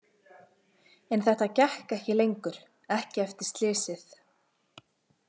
En þetta gekk ekki lengur, ekki eftir slysið.